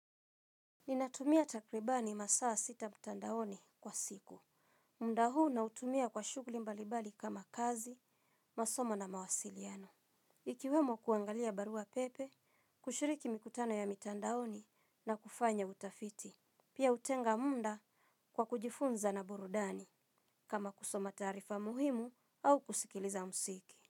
Ninatumia takribani masaa sita mtandaoni kwa siku. Muda huu nautumia kwa shugli mbalibali kama kazi, masomo na mawasiliano. Ikiwemo kuangalia barua pepe, kushiriki mikutano ya mitandaoni na kufanya utafiti. Pia utenga munda kwa kujifunza na burudani kama kusoma taarifa muhimu au kusikiliza msiki.